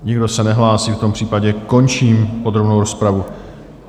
Nikdo se nehlásí, v tom případě končím podrobnou rozpravu.